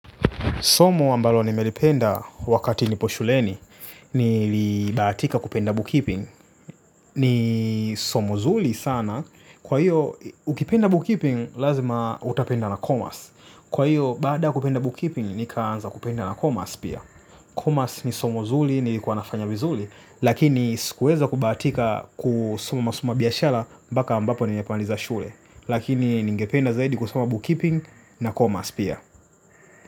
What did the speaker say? Somo ambalo nimelipenda wakati nipo shuleni nilibahatika kupenda bookkeeping. Ni somo zuli sana. Kwa hiyo, ukipenda bookkeeping, lazima utapenda na commerce. Kwa hiyo, baada ya kupenda bookkeeping, nikaanza kupenda na commerce pia. Commerce ni somo zuli, nilikuwa nafanya vizuli. Lakini, sikuweza kubahatika kusoma masomo ya biashara, mbaka ambapo nimemaliza shule. Lakini ningependa zaidi kusoma bookkeeping na commerce pia.